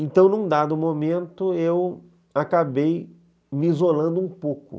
Então, num dado momento, eu acabei me isolando um pouco.